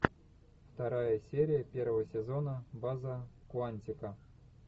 вторая серия первого сезона база куантико